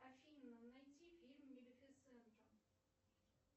афина найди фильм малефисента